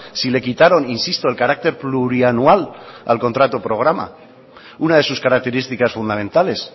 si le quitaron insisto el carácter plurianual al contrato programa una de sus características fundamentales